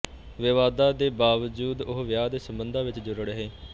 ਵਿਵਾਦਾਂ ਦੇ ਬਾਵਜੂਦ ਉਹ ਵਿਆਹ ਦੇ ਸੰਬੰਧਾਂ ਵਿੱਚ ਜੁੜ ਰਹੇ